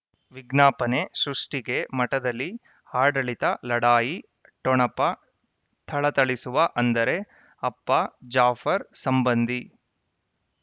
ವಿಜ್ಞಾಪನೆ ಸೃಷ್ಟಿಗೆ ಮಠದಲ್ಲಿ ಆಡಳಿತ ಲಢಾಯಿ ಠೊಣಪ ಥಳಥಳಿಸುವ ಅಂದರೆ ಅಪ್ಪ ಜಾಫರ್ ಸಂಬಂಧಿ